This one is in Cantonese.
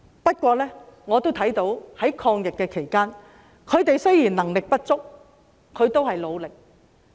不過，我也看到在抗疫期間，他們雖然能力不足，但也有努力。